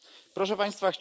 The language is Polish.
Proszę Państwa!